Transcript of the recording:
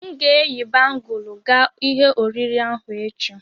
M ga-eyi bangụlu ga ihe oriri ahụ echi.